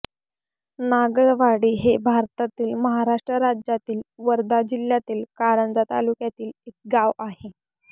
नागळवाडी हे भारतातील महाराष्ट्र राज्यातील वर्धा जिल्ह्यातील कारंजा तालुक्यातील एक गाव आहे